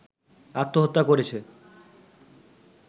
আত্মহত্যা করেছে